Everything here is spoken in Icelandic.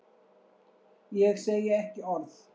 Ég segi ekki orð.